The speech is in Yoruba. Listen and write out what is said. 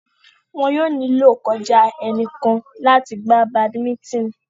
Wọn yóò nílò kọjá ẹnìkan láti gbá badimítìn